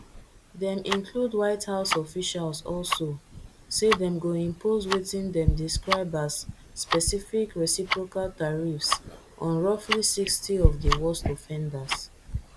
dem include white house officials also say dem go impose wetin dem describe as specific reciprocal tariffs on roughly sixty of di worst offenders